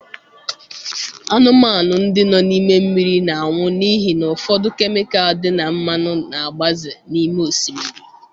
Anụmanụ ndị nọ n'ime mmiri na-anwụ n'ihi na ụfọdụ kemịkal dị na mmanụ na-agbaze n'ime osimiri